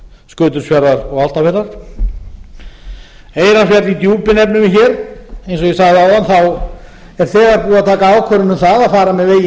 skutulsfjarðar og álftafjarðar eyrarsveit í djúpi nefnum við hér eins og ég sagði áðan er þegar búið að taka ákvörðun um það að fara með veginn